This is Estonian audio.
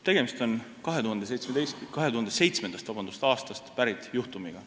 Tegemist on 2007. aastast pärit juhtumiga.